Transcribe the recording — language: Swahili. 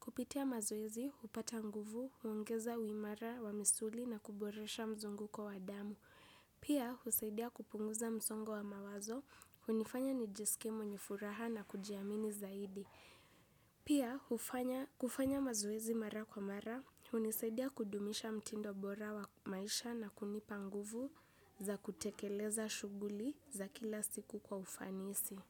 Kupitia mazoezi, hupata nguvu, huongeza uimara wa misuli na kuboresha mzungu kwa wadamu. Pia, husaidia kupunguza msongo wa mawazo, hunifanya nijiskie mwenye furaha na kujiamini zaidi. Pia, kufanya mazoezi mara kwa mara, hunisaidia kudumisha mtindo bora wa maisha na kunipa nguvu za kutekeleza shughuli za kila siku kwa ufanisi.